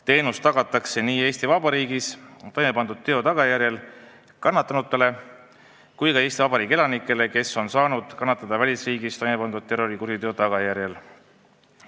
Teenus tagatakse nii Eesti Vabariigis toime pandud teo tagajärjel kannatanutele kui ka Eesti Vabariigi elanikele, kes on saanud kannatada välisriigis toime pandud terrorikuriteo tagajärjel.